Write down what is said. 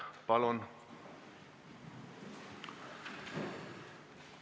Palun!